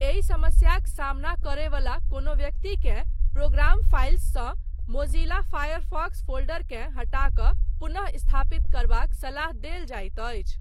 एहि समस्याक सामना करयवला कोनो व्यक्तिकेँ 'प्रोग्राम फाइल्स' सँ मोज़िला फ़ायरफ़ॉक्स फ़ोल्डरकेँ हटा कऽ पुनः स्थापित करबाक सलाह देल जाइत अछि।